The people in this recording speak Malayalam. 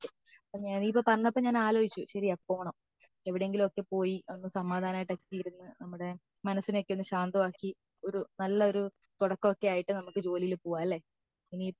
പോണമെന്ന് ഒക്കെ നീ ഇപ്പോ പറഞ്ഞപ്പോ ഞാൻ ആലോചിച്ചു ശെരിയാ പോണം എവിടെങ്കിലും ഒക്കെ പോയി ഒന്ന് സമാധാനം ആയിട്ടൊക്കെ ഇരുന്ന് നമ്മുടെ മനസ്സിനെ ഒക്കെ ഒന്ന് ശാന്തമാക്കി ഒരു നല്ല ഒരു തുടക്ക ഒക്കെ ആയിട്ട് നമുക് ജോലിൽ പൊവലെ